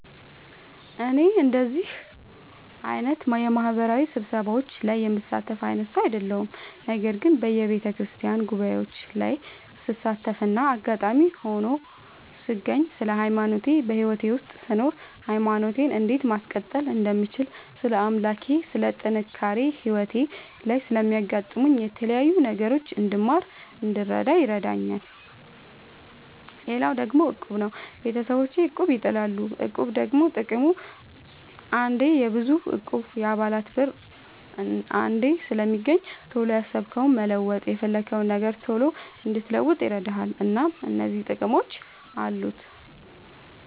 እኔ እንደዚህ አይነት የማህበራዊ ስብሰባዎች ላይ የምሳተፍ አይነት ሰው አይደለሁም። ነገር ግን በየቤተክርስቲያን ጉባኤዎች ላይ ስሳተፍና አጋጣሚ ሆኖ ስገኝ ስለ ሃይማኖቴ በህይወቴ ውስጥ ስኖር ሃይማኖቴን እንዴት ማስቀጠል እንደምችል ስለ አምላኬ ስለ ጥንካሬ ህይወቴ ላይ ስለሚያጋጥሙኝ የተለያዩ ነገሮች እንድማር እንድረዳ ይረዳኛል። ሌላው ደግሞ እቁብ ነው። ቤተሰቦቼ እቁብ ይጥላሉ። እቁብ ደግሞ ጥቅሙ አንዴ የብዙ እቁብ የአባላት ብር አንዴ ስለሚገኝ ቶሎ ያሰብከውን መለወጥ የፈለግከውን ነገር ቶሎ እንድትለውጥ ይረዳል። እናም እነዚህ ጥቅሞች አሉት።